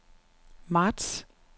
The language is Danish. marts